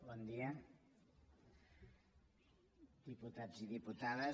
bon dia diputats i diputades